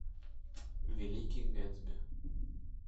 великий гэтсби